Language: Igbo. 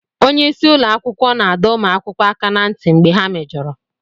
Onye isi ụlọ akwụkwọ na-adọ ụmụ akwụkwọ aka ná ntị mgbe ha mejọrọ